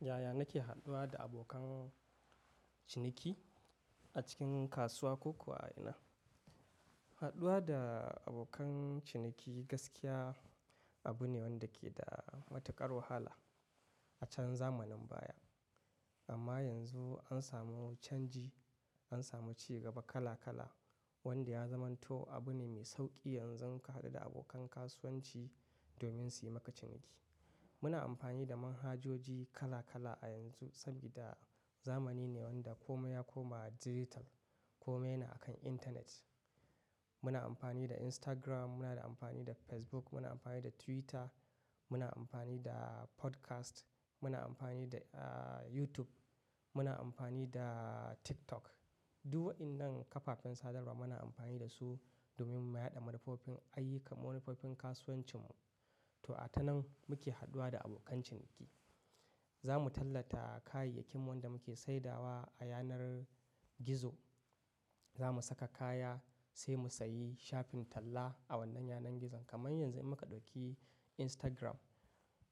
Yaya nake haduwa da abokan ciniki a cikin kasuwa ko kuwa a ina? Haɗuwa da abokan ciniki gaskiya abu ne wanda ke da matuƙar wahala a can zamanin baya. Amma yanzu an samu canji, an samu cigaba kala kala wanda ya zamanto abu ne mai sauƙi yanzu ka haɗu da abokan kasuwanci domin su yi maka ciniki. Muna amfani da manhajoji kala kala a yanzu sabida zamani ne wanda komai ya koma dijital, komai yana akan internet. Muna amfani da Instagram, muna amfani da amfani da Facebook, muna amfani da Twitter, muna amfani da Podcast, muna amfani da, ah, YouTube, muna amfani da TikTok. Duk waɗannan kafafen sadarwa muna amfani da su domin mu yaɗa manufofin ayyukan, manufofin kasuwancinmu. To a tanan muke haduwa da abokan ciniki. Za mu tallata kayayyakin wanda muke saidawa a yanar gizo. Za mu saka kaya sai mu sayi shafin talla a wannan yanar gizon. Kaman yanzu in muka ɗauki Instagram,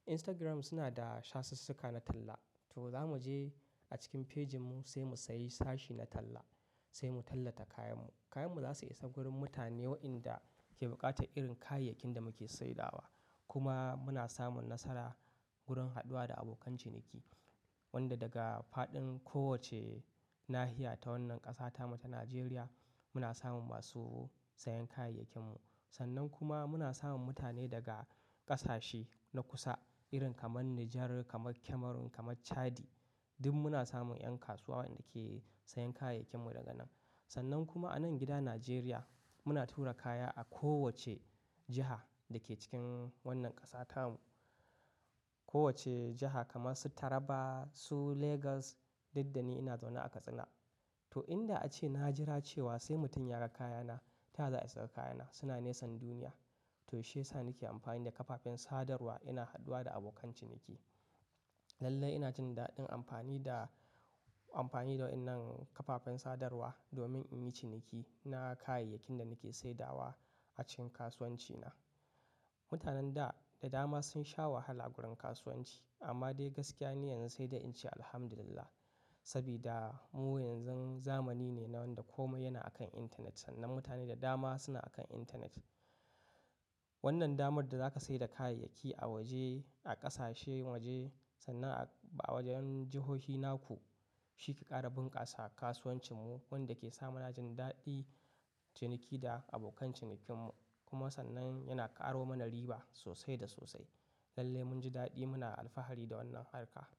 Instagram suna da shasassuka na talla. To za mu je a cikin pejinmu sai mu sayi sashi na talla, sai mu tallata kayanmu. Kayanmu za su isa wurin mutane waɗanda ke buƙatar irin kayayyakin da muke saidawa. Kuma muna samun nasara wurin haduwa da abokai ciniki, wanda daga faɗin kowacce nahiya ta wannan ƙasata mu ta Najeriya muna samun masu sayen kayayyakinmu. Sannan kuma muna samun mutane daga ƙasashe na kusa irin kamar Nijar, kamar Cameroon, kamar Chadi. Duk muna samun 'yan kasuwa waɗanda ke sayen kayayyakinmu daga nan. Sannan kuma a nan gida Najeriya muna tura kaya a kowacce jiha da ke cikin wannan ƙasata mu. Kowacce jaha kamar su Taraba, su Legas, duk dani ina zaune a Katsina. To in da ace na jira cewa sai mutum ya ga kayana taya za a yi suga kayana. Suna nesan duniya. To shiyasa nake amfani da kafafen sadarwa ina haduwa da abokan ciniki. Lallai ina jin daɗin amfani da, amfani da waɗannan kafafen sadarwa domin in yi ciniki na kayayyakin da nake saidawa a cikin kasuwancina. Mutanen da, da dama sun sha wahala wurin kasuwanci. Amma dai gaskiya ni yanzu sai dai in ce Alhamdulillah sabida mu yanzun zamani ne na wanda komai yana akan internet. Sannan mutane da dama suna akan intanet. Wannan damar da za ka sayar da kayayyaki a woje, a ƙasashen woje sannan a, a wojen jihohi naku shi ka ƙara bunƙasa a kasuwancinmu wanda ke sa muna jin daɗin ciniki da abokan cinikinmu. Kuma sannan yana ƙaro mana riba sosai da sosai. Lallai mun ji daɗi, muna alfahari da wannan harka.